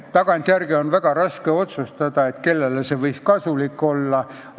Tagantjärele on väga raske otsustada, kellele see võis kasulik olla.